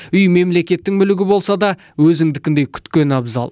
үй мемлекеттің мүлігі болса да өзіңдікіндей күткен абзал